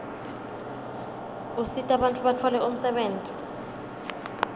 usita bantfu batfole umsebenti